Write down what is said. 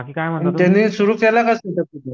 त्यानं तिथं सुरू केलं का